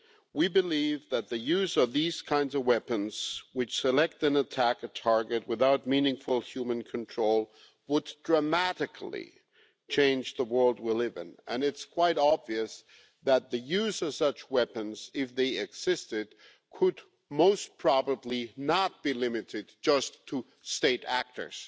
We believe that the use of these kinds of weapons, which select and attack a target without meaningful human control, would dramatically change the world we live in, and it is quite obvious that the use of such weapons, if they existed, could most probably not be limited just to state actors.